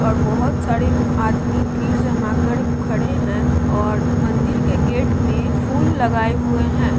और बहुत सारे आदमी भीड़ जमा कर खड़े है और मंदिर के गेट में फूल लगाएं हुए हैं।